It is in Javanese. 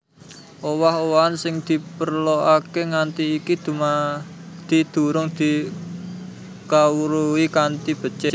Owah owahan sing diperlokaké nganti iki dumadi durung dikawruhi kanthi becik